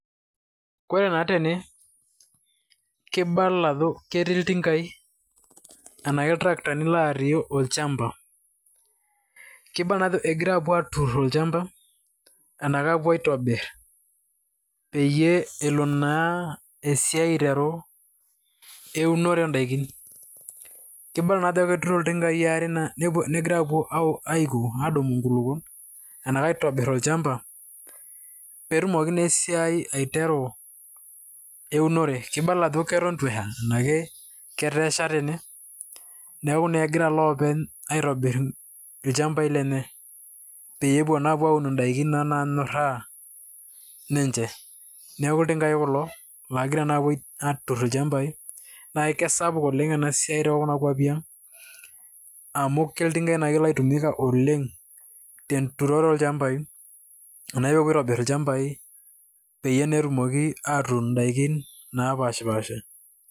Kore naa tene kibala aajo keti iltingaai ashu itarakitani otii olchamba kibnla naa ajo egira aapuo aaturr olchamba arashu aapuo aitobirr peyie elo naa esiai aiteru eunore oondaiki kibala naa ajo keturito iltingai aare negira aadumu inkulukuon arashu aitobirr olchamba pee etumoki naa esiai aiteru eunore, kibala ajo keton itu esha arashu ketaa esha tene neeku naa ekegira iloopeny aitobirr ilchambai lenye pee epuo naa apuo aaun indaiki naanyorraa ninche. Neeku iltingai kulo oogira naa aapuo aaturr ilchambai naa kesapuk oleng' ena siai tookuna kuopi aang' amu iltingaai naa oitumika oleng' tenturore olchmabai ashu teneeku epuoi aitobirr ilchambai peyie naa etumoki aatuun indaikin naapaashipaasha.